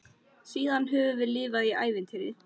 Síðan höfum við lifað í ævintýri.